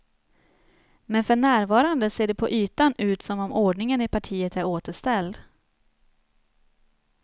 Men för närvarande ser det på ytan ut som om ordningen i partiet är återställd.